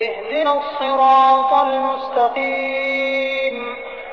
اهْدِنَا الصِّرَاطَ الْمُسْتَقِيمَ